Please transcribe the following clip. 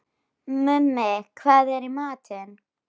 Mummi, hvað er í matinn?